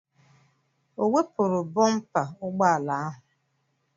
O wepụrụ bụmpa ụgbọala ahụ?